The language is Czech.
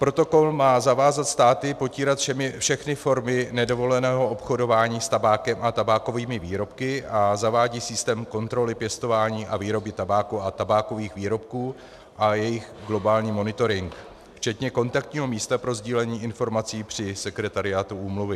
Protokol má zavázat státy potírat všechny formy nedovoleného obchodování s tabákem a tabákovými výrobky a zavádí systém kontroly pěstování a výroby tabáku a tabákových výrobků a jejich globální monitoring včetně kontaktního místa pro sdílení informací při sekretariátu úmluvy.